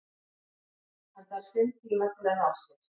Hann þarf sinn tíma til að ná sér.